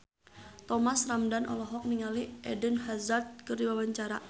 Thomas Ramdhan olohok ningali Eden Hazard keur diwawancara